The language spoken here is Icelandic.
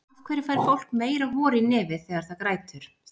Af hverju fær fólk meira hor í nefið þegar það grætur?